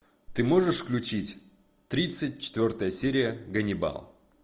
ты можешь включить тридцать четвертая серия ганнибал